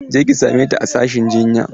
Je ki same ta a sashin jinya!